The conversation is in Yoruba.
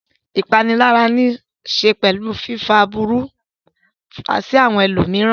Ìpanilára níṣe pẹ̀lú fífá aburú sí àwọn ẹlòmíràn.